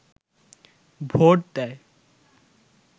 vote দেয়